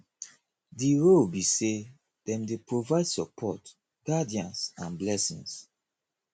di role be say dem dey provide support guidance and blessings